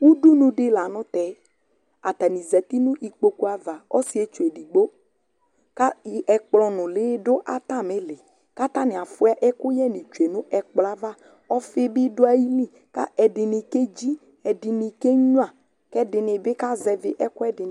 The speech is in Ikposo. ʋdʋnʋ di lantɛ, atani zati nʋ ikpɔkʋ aɣa ɔsii ɛtwʋ ɛdigbɔ kʋ ɛkplɔ nʋli dʋ atami ili kʋ atani aƒʋa ɛkʋyɛ ni twɛnʋ ɛkplɔɛ aɣa, ɔƒii bi dʋaili kʋ ɛdini kɛji ɛdinikɛ nyʋa ɛdini bi kazɛvi ɛkʋɛdi